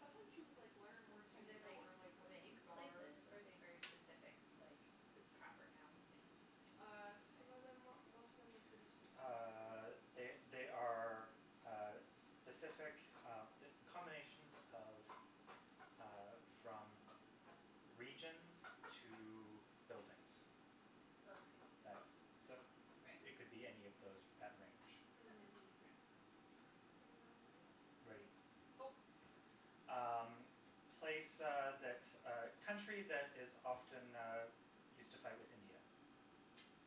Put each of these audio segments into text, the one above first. Sometimes you, like, learn words you Are they, didn't know like or, like, what vague things are. places or are they very specific, like, The the proper noun city Uh, types? some of them, most of them are pretty specific, Uh, yeah. they they are uh specific uh combinations of uh from regions to buildings. Okay. That's, so Right. it it could be any of those that range. Okay. Mhm. Mkay. Okay. Let Okay. me know when you're ready. Ready. Go. Um, place uh that, uh, country that is often used to fight with India.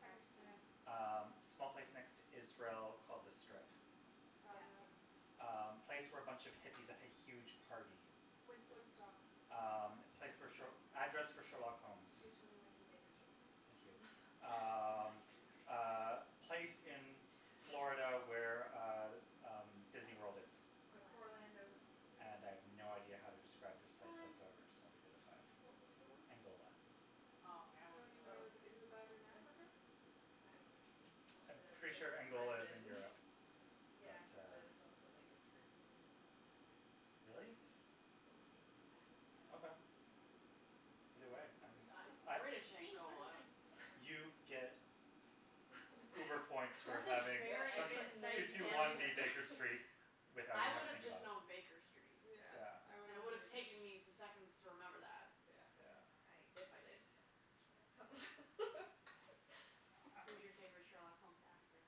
Pakistan. Um, small place next to Israel called The Strip. Gaza. Gaza. Um, Gaza. place where a bunch of hippies had a huge party. Woodstock. Woodstock. Um, place where sh- address for Sherlock Holmes. Two twenty one B Baker Street. Thank you. Nice. Um, uh, place in Florida where uh, um, Disneyworld is. Orlando. Orlando. - ando And I have no idea how to describe this place Time. whatsoever, so I'll leave it at five. What was the one? Angola. Oh, yeah, I I don't wouldn't know even know that. where that, is that in Oh, Africa? that's. I would have called I'm it a pretty sure pri- Angola is in prison Europe, but Yeah, but uh. it's also like a prison in Louisiana or something. Really? Well, they named it I don't Okay. know. that. Either way, I'm, Good It to it's I know. British See, you learn Angola. things. You get uber points for That's a having Yeah, I very the get two precise nerd two one answer. points B Baker for. Street without I even having would to have think just about it. known Baker Street, Yeah. Yeah. and it would have taken me some seconds to remember that. Yeah. Yeah. I If I did. really like Sherlock Holmes. Who's your favorite Sherlock Holmes actor?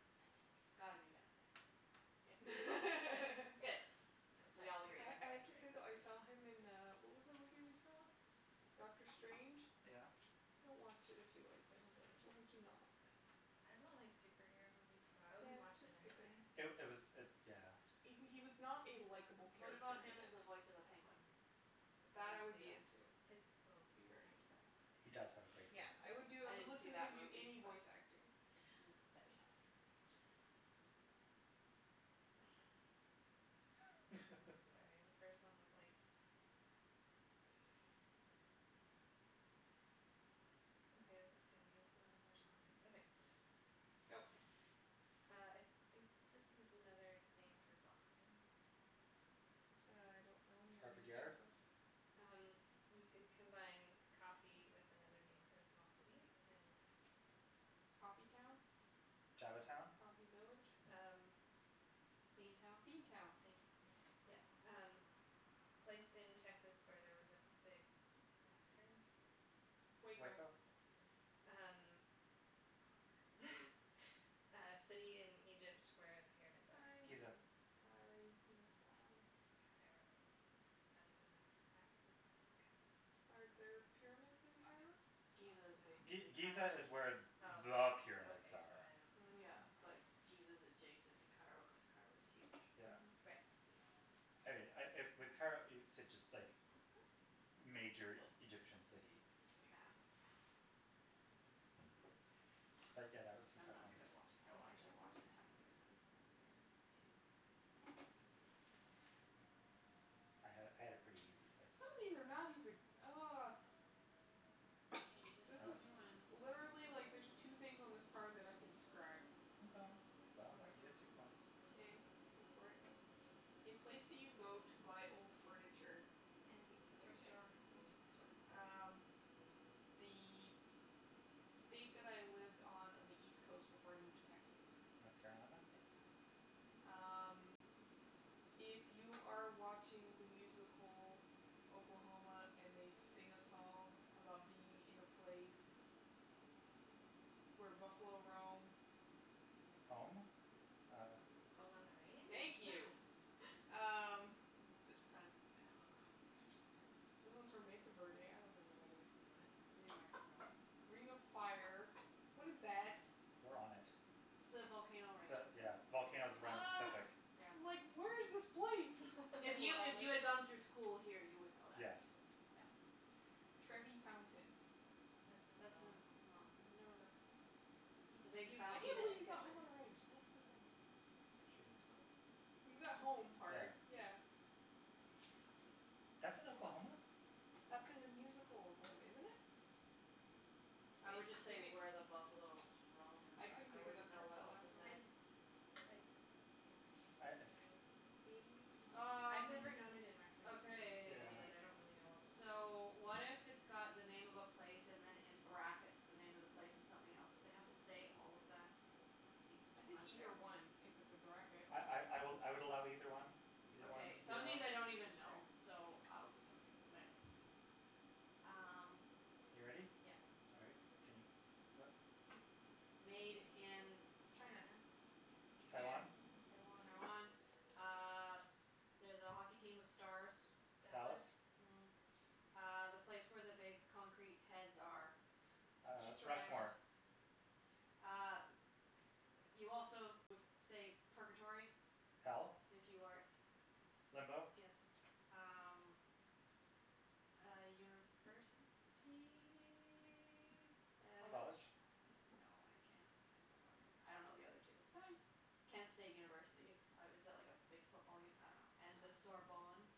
It's It's Benedict. gotta be Benedict, yeah. Good, good, Yeah, good, no, we that's all agree series I then. is I have like to great. say, though, I saw him in, uh, what was that movie we saw? Doctor Strange? Yeah. Don't watch it if you like Benedict. It will make you not like I Benedict. don't like superhero movies, so I wouldn't Yeah, watch just it skip it. anyway. It it was it, yeah. He w- he was not a likeable What about character in him as it. the voice of a penguin? Mm. Would That, I anyone would see be that? into. His, oh, Be he very has a into that. great He does have a voice. great voice. Yeah, I would do, I I I would didn't see listen to him that do movie, any but voice acting. Hmm. Let me know when you're ready. Sorry, the first one was like, what? Okay, this is gonna be infinitely more challenging. Okay. Go. Uh, I think this is another name for Boston. I don't know any other Harvard names for Yard. Bo- Um, you could combine coffee with another name for a small city and. Coffee town? Java town? Coffee village? Um. Bean town? Bean town. Thank you, yes. Um, place in Texas where there was a big massacre. Waco. Waco? Yep. These These are are harder. harder. Uh city in Egypt where the pyramids Time. are. Giza. Time. Sorry, you missed that one. Cairo. Is that even an accurate description of Cairo, probably Are there not. pyramids in Cairo? Giza is No. G- basically Giza Cairo. is where there Oh, are okay, pyramids so are. I don't Mm. Yeah, know. like, Giza is adjacent to Cairo cuz Cairo's huge, Yeah. Mhm. Right. basically. I I with Cairo, it's just like Thank you. major Egyptian city. Yeah. But, yeah, that was some I'm tough not ones. good at watch, I I will think I got actually watch what the how timer many this were time. those Two. I had I had a pretty easy places. Some of these are not even oh. You just This tell is me when. Literally, like, there's two things on this card that I can describe. Okay, well, I'll let you get two Okay. points. Okay, go for it. A place that you go to buy old furniture. Antique store? Thrift Yes, store. antique store. Um, the state that I lived on on the East coast before I moved to Texas. North Carolina. Yes. Um, if you are watching the musical Oklahoma and they sing a song about being in a place where buffalo roam. Home? Uh. Home on the Thank range? you. Um. Mm time. Oh, god, these are so hard. The other ones were Mesa Verde. I don't know where that is. Oh. Mhm. It's New Mexico. Ring of Fire. What is that? We're on it. It's the volcano ring. The, yeah, volcanoes around the Oh. Pacific. Yeah. I'm like where's this place? If You you are on if it. you had gone through school here, you would know that. Yes. Yeah. Trevi Fountain. That's in That's in Rome. Rome, Never yeah. heard of this. See. You've, It's a big you've I can't seen fountain it with believe you in got Home on pictures. the Range. Nicely done. She did. You got home Yeah. part, yeah. Hmm. That's in Oklahoma? That's in the musical Oklahoma, isn't it? I would just say Maybe it's where the buffalos roam and I couldn't then I think of wouldn't that know part what till else to I afterwards. say. I, yeah, I don't I know if it's uh in the musical. Maybe I've not. Um, never known it in reference to the musical, Yeah. okay. but I don't really know Oklahoma. So, what if it's got the name of a place and then in brackets, the name of the place and something else. have to say all of that? It seems I think unfair. either one if it's a bracket. I I I I would I would allow either one, either one, Okay. Some either of one. these I don't even know, Sure. so I'll just have to skip them, but anyways. Um. You ready? Yeah. All right, can you flip? Made in. China. China? Japan, Taiwan? Taiwan. Taiwan. Uh there's a hockey team with stars. Dallas. Dallas. Mhm. Uh, the place where the big concrete heads are. Uh, Easter Island. Rushmore. E- uh, you also would say purgatory Hell? if you are Limbo Yes. Um, uh university. And uh College? College? no, I can't I don't know the other two. Time. Kent State University. Uh is that like a big football uni- I don't know. And the Ah. Sorbonne.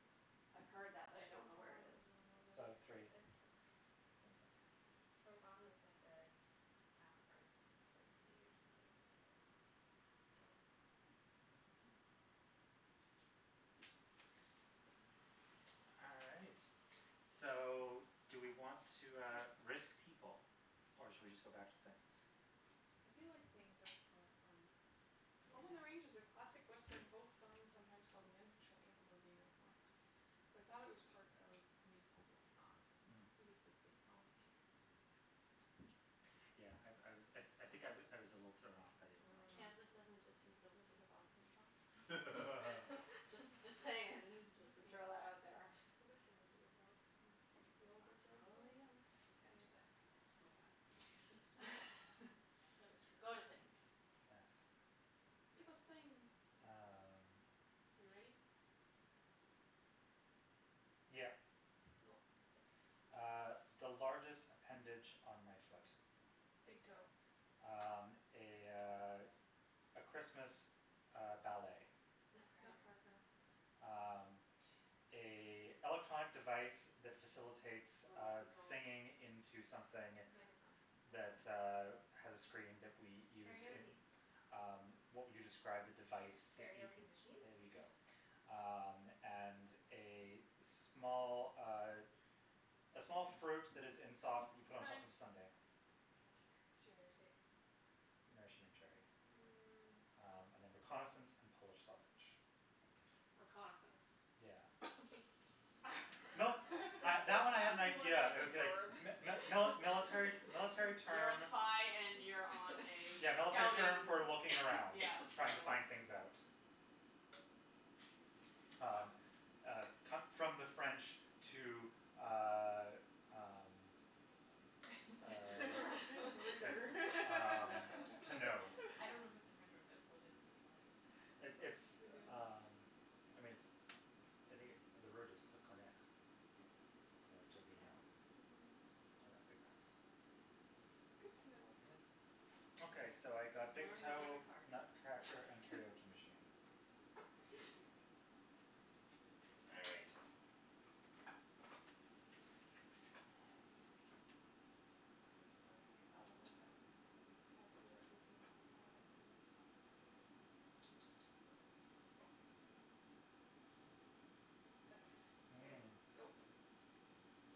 I've heard that, Sorbonne. I but I don't don't know where it is. even know where So, that is. three. It's. It's like Sorbonne is like a an arts university or something in Paris. Wow. Dance. Mhm. Yeah. All right, so do we want to, uh, risk people or should we just go back to things? I feel like things are for fun. Home on the Range is a Yeah. classic Western folk song sometimes called the unofficial anthem of the American West. So, I thought it was part of musical, but it's not. Mm. It is the state song of Kansas. Yeah. Yeah, I I was, I I think I I was a little thrown off by the Mm. Oklahoma. Kansas doesn't just use the Wizard of Oz theme song? Just just saying, just to throw that out there. theme? What is the Wizard of Oz theme song? The I Yellow Brick Road follow song? the yellow brick- we can't do that anyways, moving on. That is true. Go to things. Yes. Give us things. Um. Are you ready? Yep. Go. Uh, the largest appendage on my foot. Big Big toe. toe. Um, a, uh, a Christmas, uh, ballet. Nutcracker. Nutcracker. Nutcracker. Um, a electronic device that facilitates Remote uh control. singing into something Microphone. that, uh, Hmm. has a screen that we used in. Karaoke. Um, what would you describe the device that you. Karaoke machine? There you go. Um, and a small, uh, a small fruit that is in sauce that you put on top Time. of a sundae. Damn it. Cherry. Cherry. Maraschino cherry. Hmm. Mm. Um and then reconnaissance and Polish sausage. Reconnaissance? Yeah. No, I That that that one I had an sounds more idea. like I a was going verb. mi- mi- mili- military military You're a term. spy and you're on a Yeah, military term scouting, for looking around, yeah, trying to scouting. find things out. Well. Um, uh, come from the French to, uh, um, To uh, reconnoiter. like, um, Reconnaitre. to know. I Yeah. don't know if it's a French word, but it's legitimately a word. It That's pretty it's, good. um, I mean, it's, I think the word is reconnaitre Yeah. Mhm. to to Yeah. reknow Mhm. or recognize. Good to know. Yeah. Okay, so I got big Learning with toe, every card. Nutcracker and karaoke machine. Three. All right. These are cool. This Aren't one's gonna be they? fun I except for saw the them at last one. the, at the art museum and then I liked them and then he bought them for my birthday. They're made really well, too. Mhm. Okay, ready. Mm. Go.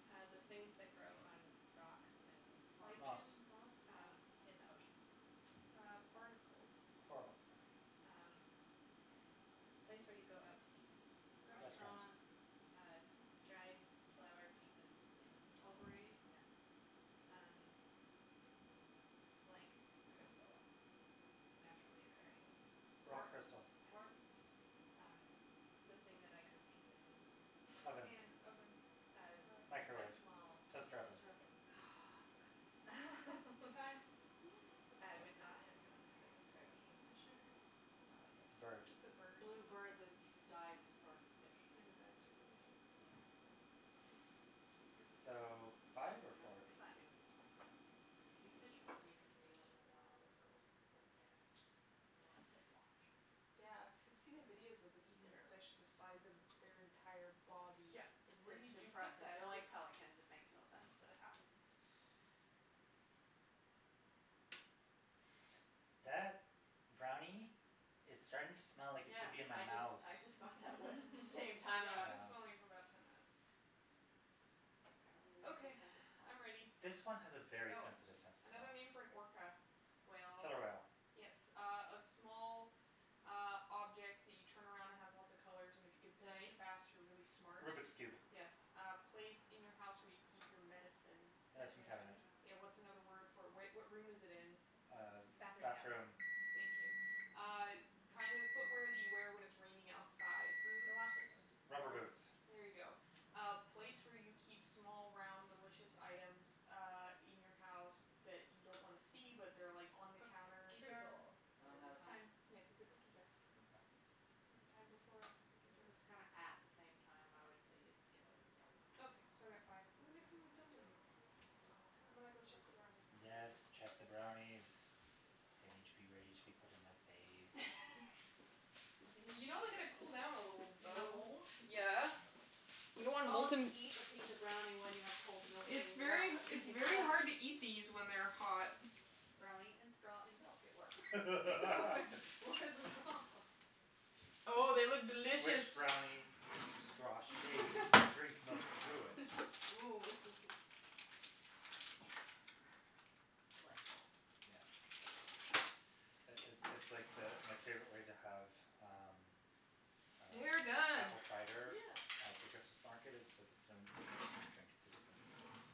Uh, the things that grow on rocks and. Moss. Moss. Lichen, moss? Moss. Um, in the ocean. Uh, barnacles. Yes. Coral. Um, place where you go out to eat. Restaurant. Restaurant. Restaurant. Uh, dried flower pieces in a bowl. Potpourri. Yeah. Um, blank crystal. Naturally occurring. Rock Quartz? Quartz, crystal. quartz, Yeah. rock? Um, the thing that I cook pizza in. A Oven. pan, oven, Um, rack. a Microwave, small. toaster oven. Toaster Yeah. oven. Hmm Oh, you got that just in time. Time. I So. would not have known how to describe kingfisher. Is that like It's a bird. It's a a? bird. Blue bird that dives for fish. And Ah. dives for fish, yeah. Yeah, I would not have known how to. Those birds are So, really cool. five or Really four? big, Five. too. Kingfishers, when you can see one in the wild, are cool. Yeah. You wanna sit and watch. Yeah, I've I've seen the videos of them eating fish the size of their entire body. Yeah, It's like where it's did you put impressive. that? They're like pelicans; it makes no sense, but it happens. That brownie is starting to smell like it Yeah, should be in my I just mouth. I just got that whiff at the same Mm. time, I I've went. been Ah. smelling it for about ten minutes. Apparently, we have no Okay, sense of smell. I'm ready. This one has a very Go. sensitive sense of smell. Another name for an orca. Whale. Killer whale. Yes. Uh a small, uh, object that you turn around and has lots of colors and if you can finish it Dice? fast, you're really smart. Rubik's Cube. Yes. Hmm. A place in your house where you keep your medicine. Medicine Medicine Medicine cabinet. cabinet. Yeah, what's another word cabinet. for it? Where what room is it in? Uh, Bathroom cabinet. bathroom. Thank you. Uh kind of footwear that you wear when it's raining outside. Galoshes, Boots. Rubber rubber boots. boots. There you go. Uh place where you keep small, round, delicious items uh in your house that you don't wanna see, but they're like on the counter. Cookie Fruit jar? bowl. Oh, I'm The out the of time. time. Yes, it's a cookie jar. Oh. Okay. Was the time before or after cookie jar? It was kinda at the same time. I would say it's given, yeah. Okay, so I got five. And the next one was dumpling. And Oh. I'm gonna go check the brownies now. Yes, check the brownies. They need to be ready to be put in my face. I'm gonna You know they see gotta what these cool down a people little, look The like. though. hole? Yeah. You don't It's want called you molten eat a piece of brownie when you have cold milk It's in your mouth very at h- the it's same very time. hard to eat these when they're hot. Brownie and straw and milk, it works Like, what's the problem? Oh, they look delicious. Squish brownie into straw shape, drink milk through it. Ooh hoo hoo Yes. Yeah. Life goals. Yeah. Hashtag life goal. It it it's like the, my favorite way to have um, They are uh, done. apple cider Yeah. at the Christmas market is with a cinnamon stick in it and you drink it through the cinnamon stick. Oh,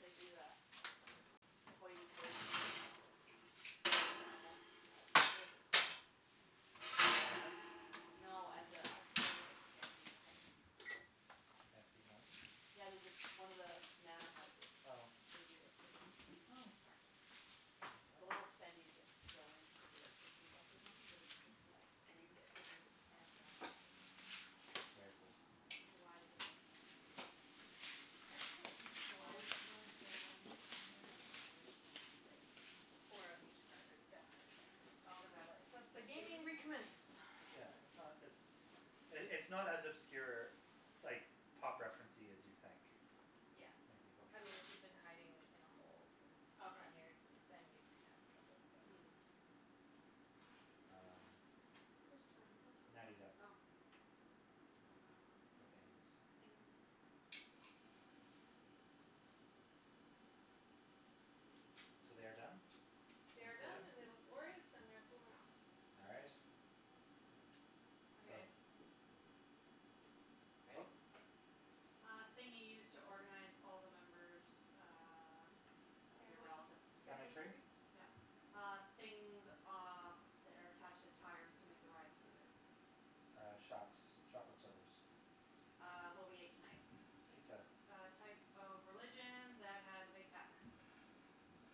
they do that at the Sounds the tasty. hoity-toity one at the South Granville, that what is it called? Mynard's? No, at the actual, like, fancy home. Fancy home? Yeah, there's one of the manor houses, Oh. they do a Christmas Oh. market. I didn't know It's a that. little spendy to get to go in. It's maybe like sixteen bucks or something, but it's it's nice and Okay. you can get pictures with Santa and all sorts of stuff. Very cool. I don't know why the name is escaping me now. I'd say at Is least it four of the Hollyburn? people ones on here are probably like four of each card are definitely guessable, some of them are Okay. like, Let the hmm? gaming recommence. Yeah, it's not, it's, it's not as obscure, like, pop referencey as you'd think Yeah. when you think about I mean, people. if you've been hiding in a hole for ten Okay. years, then you'd have trouble, but. Mm. Yeah. Kay. Um, Who's turn? What's going Natty's up Oh. Um, for things, things. okay. So they are done They and are done cooling? and they look glorious and they're cooling off. All right. So. Okay. Ready? Go. Uh thing you use to organize all the members uh of your Family relatives. Family family tree? tree? Yeah. Uh, things, uh, that are attached to tires to make the ride smoother. Uh, shocks, shock absorbers. Yes. Uh, what we ate tonight. Pizza. Pizza. A type of religion that has a big fat man.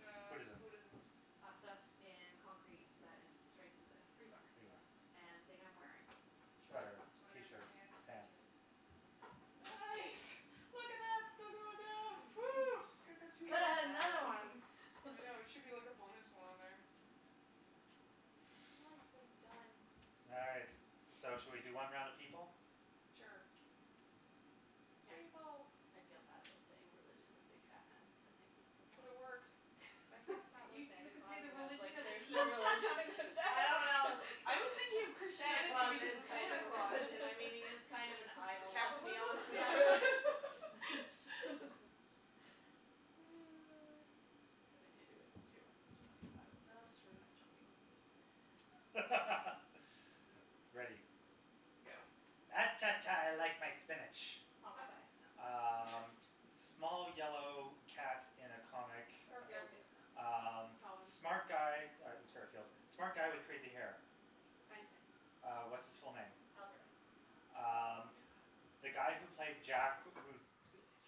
Uh, Buddhism. Buddhism. Uh, stuff in concrete that in strengthens it. Rebar. Rebar, yeah. And thing I'm wearing. Shirt, Sweater, sweater, t-shirt, pants. pants. t-shirt, yeah. Nice! Look at that, still going down. Phew. Could've Well had another done. one. I know, there should be like a bonus one on there. Mm. Nicely done. All right, so should we do one round of people? Sure. Yeah. People. I feel bad about saying religion with big fat man. That makes me feel bad. But it worked. My first thought was You you Santa could say Claus the and I was like religion of there's no peace. religion for I that. don't know, it I was thinking of Santa Christianity Claus because is of kind Santa of a Claus. religion, I mean, he is kind of an idol, let's be honest. Capitalism? Yeah, really Could've been Hinduism, too, I mean, there are plenty of idols that That's are true. kind of chunky monkeys. Ready. Go. Ah cha, cha, I like my spinach. Popeye. Popeye. Um, small yellow cat in a comic. Garfield. Mm. Garfield. Um, Calvin. smart guy- yeah it was Garfield- No. smart guy with crazy hair. Einstein. Uh, what's his full name? Albert Einstein. Um, the guy who placed Jack who